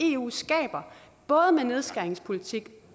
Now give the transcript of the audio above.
eu skaber både med nedskæringspolitik